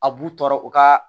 A b'u tɔɔrɔ u ka